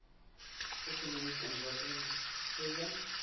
ekonomiese ontwikkeling goeie